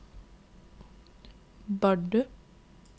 Bardu